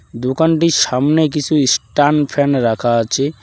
দোকানটির সামনে কিছু ইস্টান ফ্যান রাখা আছে।